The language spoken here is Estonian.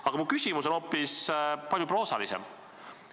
Aga mu küsimus on hoopis proosalisem.